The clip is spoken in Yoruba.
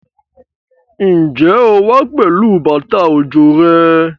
Ǹjẹ́ o wá pẹ̀lú bàtà òjò rẹ?